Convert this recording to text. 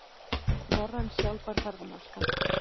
Norræn sjálfbær ferðamennska